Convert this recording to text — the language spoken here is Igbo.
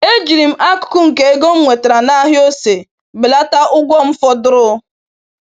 Ejiri m akụkụ nke ego m nwetara n’ahịa ose belata ụgwọ m fọdụrụ.